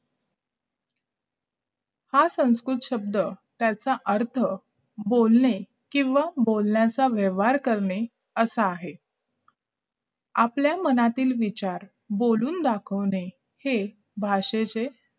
हा संस्कृत शब्द त्याचा अर्थ त्याचा अर्थ बोलणे किंवा बोलण्याचा व्यवहार करणे असा आहे आपल्या मनातले विचार बोलून दाखवणे हे भाषेचे